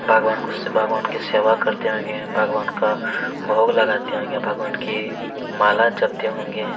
भगवान कृष्ण भगवान की सेवा करते होंगे भगवान का भोग लगाते होंगे भगवान की माला जपते होंगे।